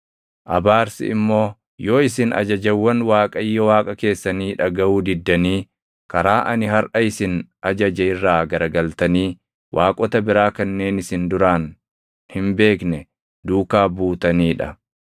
Abaarsi immoo yoo isin ajajawwan Waaqayyo Waaqa keessanii dhagaʼuu diddanii karaa ani harʼa isin ajaje irraa garagaltanii waaqota biraa kanneen isin duraan hin beekne duukaa buutanii dha.